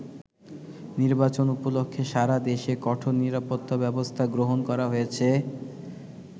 নির্বাচন উপলক্ষে সারা দেশে কঠোর নিরাপত্তা ব্যবস্থা গ্রহণ করা হয়েছে।